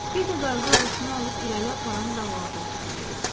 Bir də qayığı ağuşuna alıb irəli aparan dalğaları ovsunlayırdı.